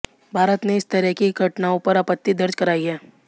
भारत ने इस तरह की घटनाओं पर आपत्ति दर्ज कराई है